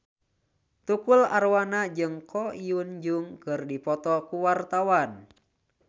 Tukul Arwana jeung Ko Hyun Jung keur dipoto ku wartawan